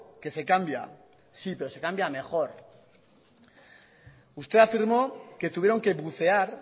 que se cambia sí pero se cambia a mejor usted afirmó que tuvieron que bucear